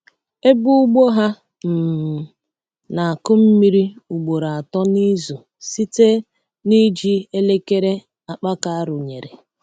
Ebe ugbo ha um na-akụ mmiri ugboro atọ n’izu site n’iji elekere akpaka arụnyere.